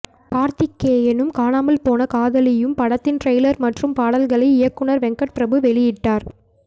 கார்த்திகேயனும் காணாமல் போன காதலியும் படத்தின் டிரைலர் மற்றும் பாடல்களை இயக்குனர் வெங்கட் பிரபு வெளியிட்டார்